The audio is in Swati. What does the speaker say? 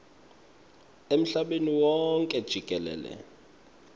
emhlabeni wonkhe jikelele